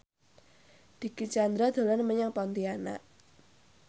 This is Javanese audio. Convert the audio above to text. Dicky Chandra dolan menyang Pontianak